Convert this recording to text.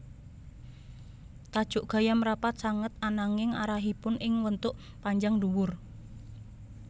Tajuk gayam rapat sanget ananging arahipun ing wentuk panjang dhuwur